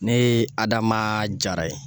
Ne ye Adama jara ye.